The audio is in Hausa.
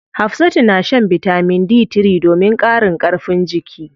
Hafsatu na shan bitamin D3 domin ƙarin karfin jiki.